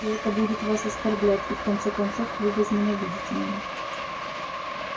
и это будет вас оскорблять и в конце концов вы возненавидите меня